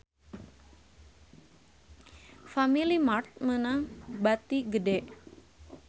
Family Mart meunang bati gede